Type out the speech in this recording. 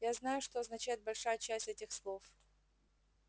я знаю что означает большая часть этих слов